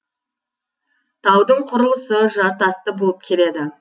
таудың құрылысы жартасты болып келеді